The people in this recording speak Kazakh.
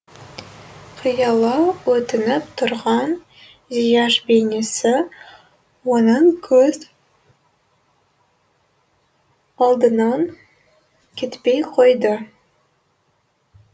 қиыла өтініп тұрған зияш бейнесі оның көз алдынан кетпей қойды